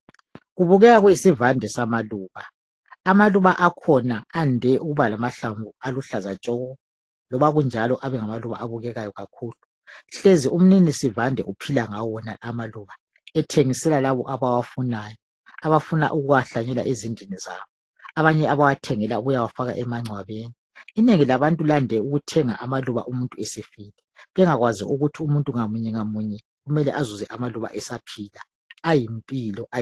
Kubukeka kuyisivande sama luba abaluba akhona ande ukuba lamahlamvu aluhlaza tshoko loba kunjalo abe ngamaluba abukeka kakhulu, umnini sivande uphila ngawo lamaluba ethengisela laba abawafuna abafuna ukuwahlanyela ezindlini zabo, abanye bewathengela ukuwafaka emancwabeni inengi labantu livame ukuthenga ama luba abantu sebefile bengazi ukuthi umuntu ngamunye ngamunye kumele ezuze amaluba akhe esaphila.